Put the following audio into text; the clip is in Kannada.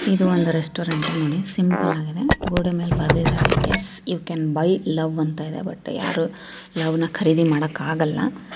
ಇದು ಒಂದು ರೆಸ್ಟೋರೆಂಟ್ ನೋಡಿ ಸಿಂಪಲಾಗಿ ದೆ ಗೋಡೆ ಮೇಲೆ ಬರ್ದೇದಾರೆ yes you can buy love ಅಂತ ಇದೆ ಬಟ್ ಯಾರು ಲವ್ನ ಖರೀದಿ ಮಾಡಕ್ ಆಗಲ್ಲಾ.